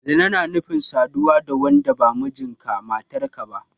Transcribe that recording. Zina na nufin saduwa da wanda ba mijinka/matarka ba.